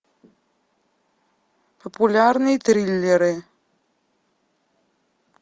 популярные триллеры